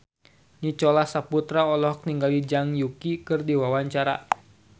Nicholas Saputra olohok ningali Zhang Yuqi keur diwawancara